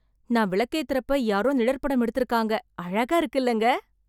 நான் விளக்கேத்தறப்ப யாரோ நிழற்படம் எடுத்துருக்காங்க, அழகா இருக்குல்லங்க.